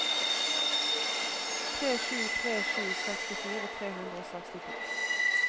tre sju tre sju sekstifire tre hundre og sekstito